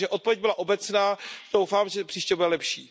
Takže odpověď byla obecná, doufám, že příště bude lepší.